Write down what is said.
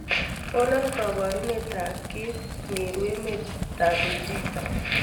konon koborunet ab kiit nru emet en beijing